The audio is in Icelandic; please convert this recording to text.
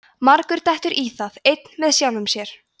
margur dettur í það einn með sjálfum sér